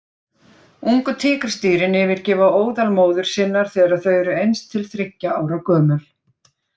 Ungu tígrisdýrin yfirgefa óðal móður sinnar þegar þau eru eins til þriggja ára gömul.